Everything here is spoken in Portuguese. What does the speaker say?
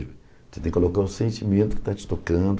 Você tem que colocar o sentimento que está te tocando.